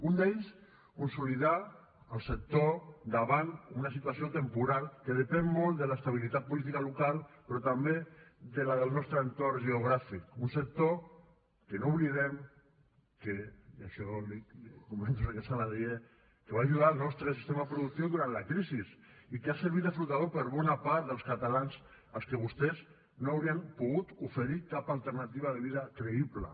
un d’ells consolidar el sector davant una situació temporal que depèn molt de l’estabilitat política local però també de la del nostre entorn geogràfic un sector que no oblidem que i això l’hi comento senyor saladié va ajudar el nostre sistema productiu durant la crisi i que ha servit de flotador per a bona part dels catalans als que vostès no haurien pogut oferir cap alternativa de vida creïble